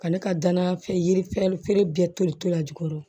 Ka ne ka danaya fɛn yiri ferefeere bɛɛ tolitɔ la jukɔrɔ